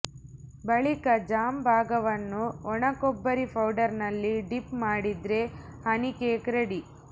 ಬಳಿಕ ಜಾಮ್ ಭಾಗವನ್ನು ಒಣಕೊಬ್ಬರಿ ಪೌಡರ್ ನಲ್ಲಿ ಡಿಪ್ ಮಾಡಿದ್ರೆ ಹನಿ ಕೇಕ್ ರೆಡಿ